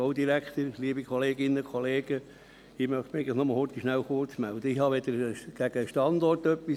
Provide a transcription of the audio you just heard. Ich habe nichts gegen den Standort, er ist sicher von Vorteil.